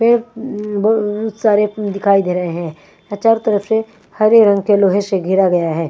पेड़ उँ म ब बहोत सारे दिखाई दे रहे हैं औ चारों तरफ से हरे रंग के लोहे से घेरा गया है।